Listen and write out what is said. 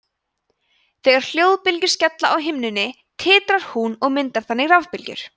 þegar hljóðbylgjur skella á himnunni titrar hún og myndar þannig rafbylgjur